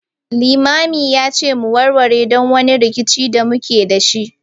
Limamin ya ce mu warware duk wani rikici da muke da shi